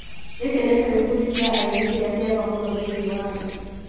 giki nikio gĩkundi kĩa aini kĩrĩa kĩega mũno thĩinĩ wa thĩ.